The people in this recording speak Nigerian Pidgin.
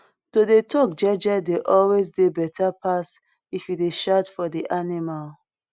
to dey talk jeje dey always dey better pass if you dey shout for di animal